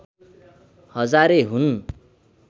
हजारे हुन्